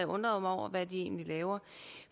undret mig over hvad de egentlig laver